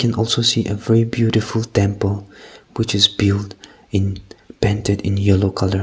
and also see a very beautiful temple which is build in painted in yellow colour.